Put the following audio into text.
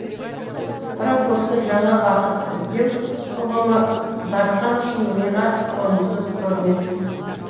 бірақ осы жаңа бақыт іздеу ұғымы дархан үшін миға қонымсыз көрінетін